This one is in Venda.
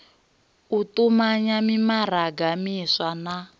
u tumanya mimaraga miswa na